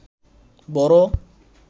বড়